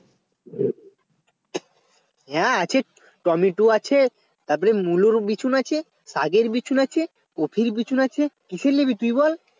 হ্যাঁ আছে টমেটো আছে তারপরে মুলোর বিচুন আছে শাকের বিচুন আছে কফির বিচুন আছে কিসের নিবি তুই বল